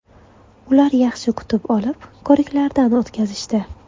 Ular yaxshi kutib olib, ko‘riklardan o‘tkazishdi.